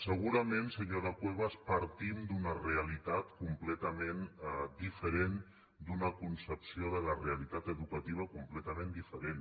segurament senyora cuevas partim d’una realitat completament diferent d’una concepció de la realitat educativa completament diferent